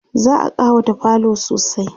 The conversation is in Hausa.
za'a ƙawata falo sosai